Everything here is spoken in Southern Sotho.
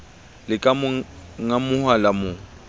le ka ngamoha la mo